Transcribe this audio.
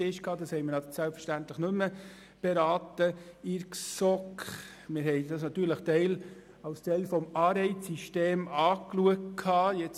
Diesen haben wir selbstverständlich in der GSoK nicht mehr beraten können, wobei wir das natürlich als Teil des Anreizsystems betrachtet hatten.